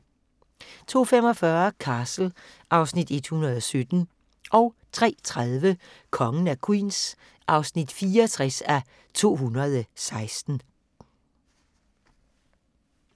02:45: Castle (Afs. 117) 03:30: Kongen af Queens (64:216)